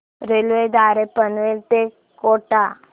railway द्वारे पनवेल ते कोटा